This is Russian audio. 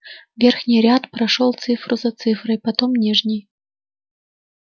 верхний ряд прошёл цифру за цифрой потом нижний